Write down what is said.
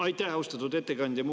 Aitäh, austatud ettekandja!